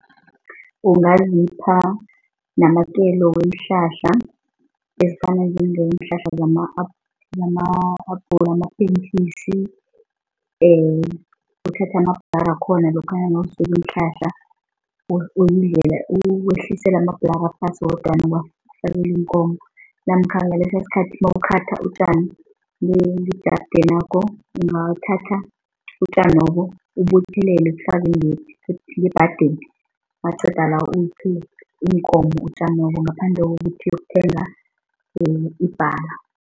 Ungazipha namakelo weenhlahla ezifana njengeenhlahla zamapentjisi, and uthathe amabhlara akhona lokha nawusula iinhlahla uwehlisela amabhlara phasi wodwana uwafakele iinkomo namkha ngalesosikhathi mawukhatha utjani ngejaridenakho ungathatha utjanobo ubuthelele ubufaka ngebhadeni naqedala uphe iinkomo utjanobo ngaphandle kokuthi yokuthenga ibhala.